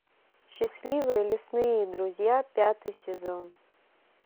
счастливые лесные друзья пятый сезон